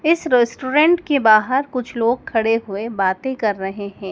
इस रेस्टोरेंट के बाहर कुछ लोग खड़े हुए बातें कर रहे हैं।